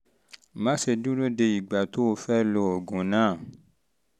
má ṣe dúró de ìgbà um tó o fẹ́ lo oògùn náà